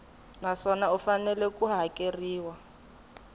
naswona u fanele ku hakeriwa